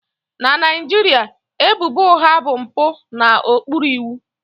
Na Naijiria, ebubo ụgha bụ mpụ n'okpuru iwu